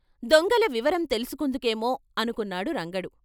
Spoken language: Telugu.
దొంగల వివరం తెలుసు కుందుకేమో అనుకున్నాడు రంగడు.